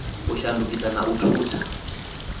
u shandukisa na u thutha